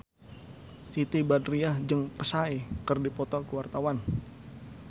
Siti Badriah jeung Psy keur dipoto ku wartawan